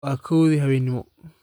Waa kowdii habeenimo